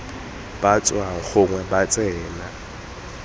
ba tswang gongwe ba tsena